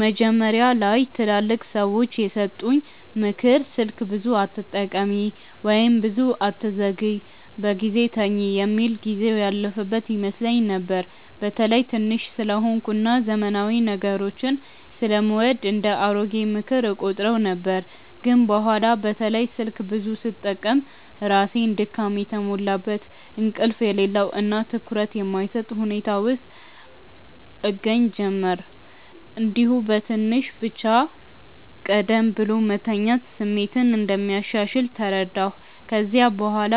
መጀመሪያ ላይ ትላልቅ ሰዎች የሰጡኝ “ምክር ስልክ ብዙ አትጠቀሚ” ወይም “ብዙ አትዘግይ በጊዜ ተኝ” የሚል ጊዜው ያለፈበት ይመስለኝ ነበር። በተለይ ትንሽ ስለሆንኩ እና ዘመናዊ ነገሮችን ስለምወድ እንደ “አሮጌ ምክር” እቆጥረው ነበር። ግን በኋላ በተለይ ስልክ ብዙ ስጠቀም ራሴን ድካም የተሞላበት፣ እንቅልፍ የሌለው እና ትኩረት የማይሰጥ ሁኔታ ውስጥ እገኛ ጀመርሁ። እንዲሁም በትንሽ ብቻ ቀደም ብሎ መተኛት ስሜት እንደሚያሻሽል ተረዳሁ። ከዚያ በኋላ